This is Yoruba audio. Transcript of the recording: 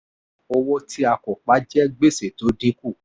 owó tí a kò pa jẹ́ gbèsè tó dín kù.